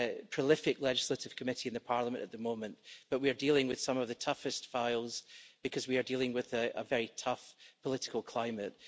prolific legislative committee in Parliament at the moment, but we are dealing with some of the toughest issues because we are dealing with a very tough political climate.